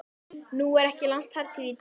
Nú er ekki langt þar til ég dey.